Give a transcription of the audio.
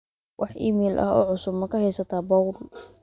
wax iimayl ah oo cusub ma ka haystaa paul